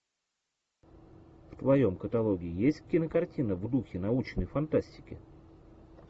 в твоем каталоге есть кинокартина в духе научной фантастики